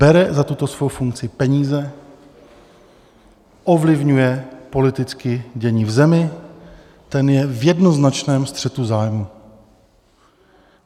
Bere za tuto svou funkci peníze, ovlivňuje politicky dění v zemi, ten je v jednoznačném střetu zájmů.